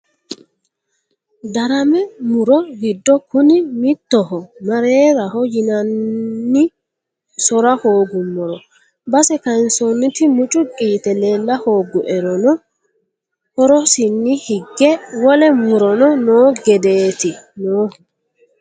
Darame muro giddo kuni mittoho mareraho yinanni sora hooguummoro base kayinsonniti mucuqi yite leella hooguerono horosinni hige wole murono no gedeti noohu.